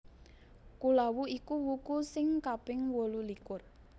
Kulawu iku wuku sing kaping wolulikur